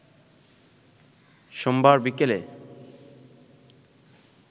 সোমবার বিকেলে